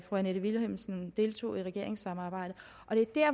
annette vilhelmsen deltog i regeringssamarbejdet